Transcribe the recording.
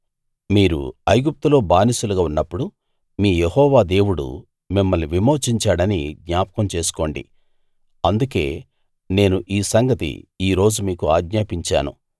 మీరు ఐగుప్తులో బానిసలుగా ఉన్నప్పుడు మీ యెహోవా దేవుడు మిమ్మల్ని విమోచించాడని జ్ఞాపకం చేసుకోండి అందుకే నేను ఈ సంగతి ఈ రోజు మీకు ఆజ్ఞాపించాను